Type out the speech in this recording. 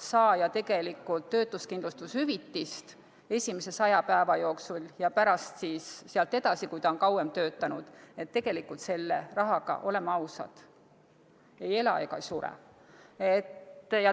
saaja tegelikult töötuskindlustushüvitist esimese 100 päeva jooksul, ja pärast sealt edasi, kui ta on kauem töötanud, siis tegelikult selle rahaga, oleme ausad, ei ela ega sure.